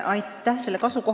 Aitäh!